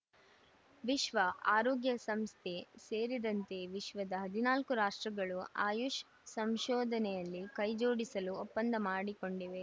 ವಿಶ್ವ ಆರೋಗ್ಯ ಸಂಸ್ಥೆ ಸೇರಿದಂತೆ ವಿಶ್ವದ ಹದಿನಾಲ್ಕು ರಾಷ್ಟ್ರಗಳು ಆಯುಷ್‌ ಸಂಶೋಧನೆಯಲ್ಲಿ ಕೈಜೋಡಿಸಲು ಒಪಂದ್ದ ಮಾಡಿಕೊಂಡಿವೆ